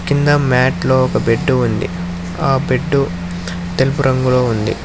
కింద మ్యాట్లో ఒక బెడ్డు ఉంది ఆ బెడ్డు తెలుపు రంగులో ఉంది.